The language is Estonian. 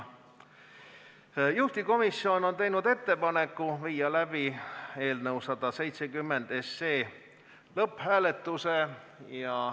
Juhtivkomisjon on teinud ettepaneku viia läbi eelnõu 170 lõpphääletus.